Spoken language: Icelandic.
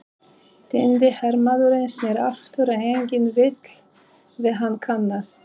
Týndi hermaðurinn snýr aftur, en enginn vill við hann kannast.